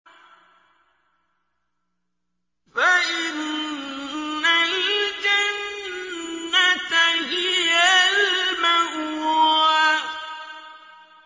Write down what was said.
فَإِنَّ الْجَنَّةَ هِيَ الْمَأْوَىٰ